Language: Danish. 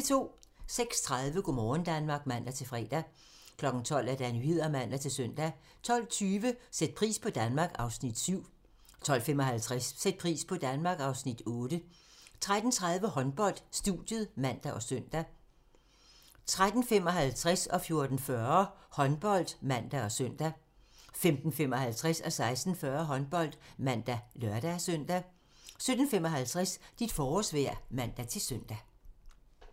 06:30: Go' morgen Danmark (man-fre) 12:00: Nyhederne (man-søn) 12:20: Sæt pris på Danmark (Afs. 7) 12:55: Sæt pris på Danmark (Afs. 8) 13:30: Håndbold: Studiet (man og søn) 13:55: Håndbold (man og søn) 14:40: Håndbold (man og søn) 15:55: Håndbold (man og lør-søn) 16:40: Håndbold (man og lør-søn) 17:55: Dit forårsvejr (man-søn)